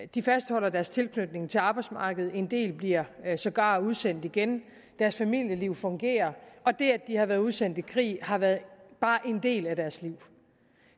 de fastholder deres tilknytning til arbejdsmarkedet en del bliver sågar udsendt igen deres familieliv fungerer og det at de har været udsendt i krig har været bare én del af deres liv